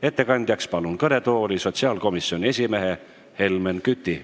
Ettekandeks palun kõnetooli sotsiaalkomisjoni esimehe Helmen Küti.